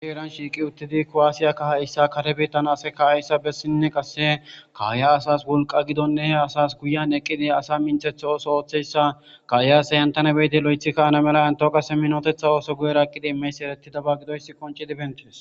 aiheran shiiqi uttidi ko7aasiyakkahayssa kare biittan ase ka7ayssa bessinne qasse kaaya asas wolqa gidonne he asas guyen eqqidi asa minthetha ooso ooththeyssa kaayase yentane beyide lo7ethikka ana mela entao qase minotetha ooso guyera eqqidi imeys eretidaba gidoyss konci dibentees